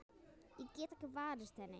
Ég get ekki varist henni.